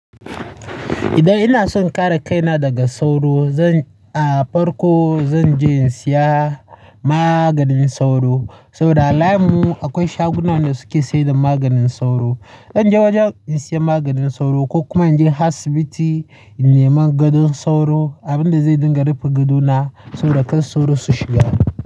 Idan ina son kare kaina daga sauro, zan, a farko zan je in saya maganin sauro. Saboda a layinmu akwai shagunan da suke sayar da maganin sauro. Zan je wajen in saya maganin sauro ko kuma in je asibiti in nemi gidan sauro, abin da zai dinga rufe gado na saboda kan sauro su shiga.